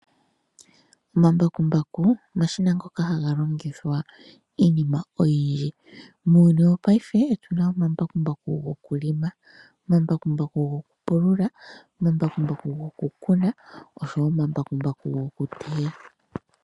Omambakumbaku omashina ngoka haga longithwa miinima oyindji . Muuyuni wopaife otu na omambakumbaku gokuhelela, gokupulula, gokukuna oshowo gokuteya.